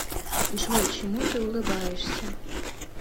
джой чему ты улыбаешься